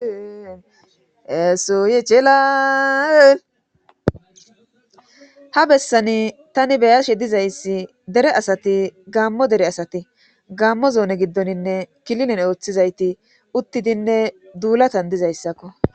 esoye cela ha bessani tani beyashe dizayssi dere asati gaammo dere asati gammo zoone giddoninne kililen ooththizayti uttidinne duulatan dizayssakko